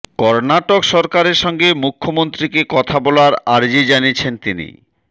কর্ণাটক সরকারের সঙ্গে মুখ্যমন্ত্রীকে কথা বলার আর্জি জানিয়েছেন তিনি